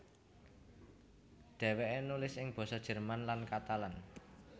Dhèwèké nulis ing basa Jerman lan Katalan